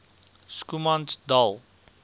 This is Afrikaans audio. schoemansdal